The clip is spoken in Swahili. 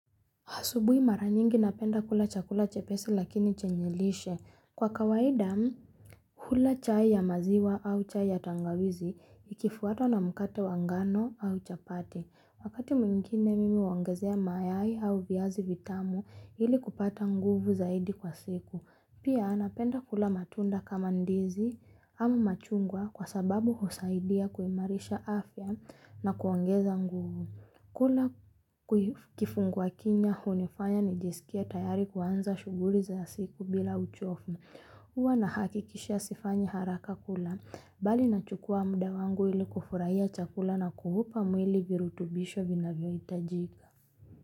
Asubuhi mara nyingi napenda kula chakula chepesi lakini chenye lishe. Kwa kawaida, hula chai ya maziwa au chai ya tangawizi, ikifwatwa na mkate wa ngano au chapati. Wakati mwingine mimi huongezea mayai, au viazi vitamu, ili kupata nguvu zaidi kwa siku. Pia, napenda kula matunda kama ndizi ama machungwa, kwa sababu husaidia kuimarisha afya na kuongeza nguvu. Kula kifungua kinywa hunifanya nijisikie tayari kuanza shughuli za siku bila uchovu. Huwa nahakikisha sifanyi haraka kula. Bali nachukua muda wangu, ili kufurahia chakula na kuupa mwili virutubisho vinavyohitajika.